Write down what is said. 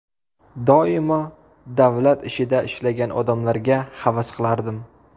Doimo davlat ishida ishlagan odamlarga havas qilardim.